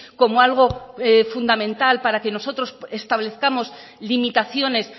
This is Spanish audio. como algo fundamental para que nosotros establezcamos limitaciones